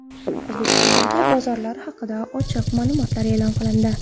O‘zbekistondagi bozorlar haqida ochiq ma’lumotlar e’lon qilindi.